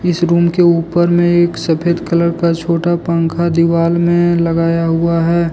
इस रूम के ऊपर में एक सफेद कलर का छोटा पंखा दीवाल में लगाया हुआ है।